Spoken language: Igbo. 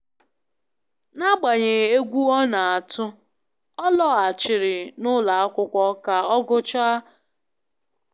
N'agbanyeghị egwu ọ na-atụ, ọ laghachiri n'ụlọ akwụkwọ ka ọ gụchaa ihe ọ malitere.